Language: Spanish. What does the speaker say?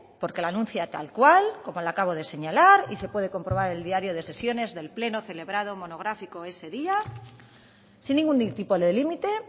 porque la anuncia tal cual como la acabo de señalar y se puede comprobar el diario de sesiones del pleno celebrado monográfico ese día sin ningún tipo de límite